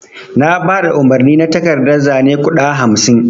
Na baɗa umarni na takardan zane guɗa hamsin.